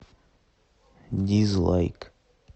дизлайк